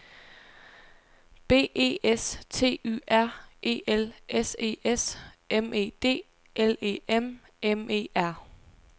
B E S T Y R E L S E S M E D L E M M E R